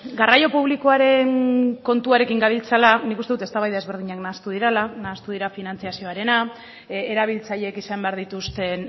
garraio publikoaren kontuarekin gabiltzala nik uste dut eztabaida ezberdinak nahastu direla nahastu dira finantzazioarena erabiltzailek izan behar dituzten